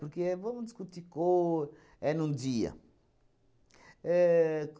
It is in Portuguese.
Porque vamos discutir cor... É num dia. Ahn.